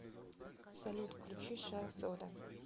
салют включи шахзода